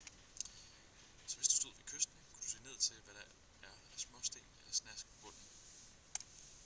så hvis du stod ved kysten kunne du se ned til hvad der er af småsten eller snask på bunden